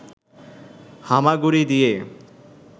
হামাগুড়ি দিয়ে